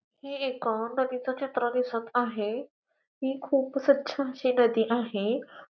हे एक नदीच चित्र दिसत आहे ही खूप स्वच्छ अशी नदी आहे.